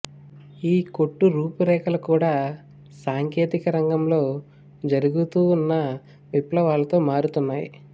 ఈ కొట్టు రూపురేఖలు కూడా సాంకేతిక రంగంలో జరుగుతూన్న విప్లవాలతో మారుతున్నాయి